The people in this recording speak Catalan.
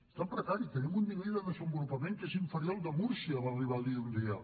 està en precari tenim un nivell de desenvolupament que és inferior al de múrcia va arribar a dir un dia